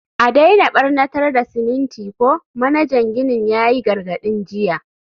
a daina barnatar da siminti ko, manajan ginin ya yi gargadin jiya.